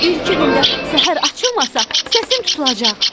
Bir-iki gündə səhər açılmasa, səsim tutulacaq.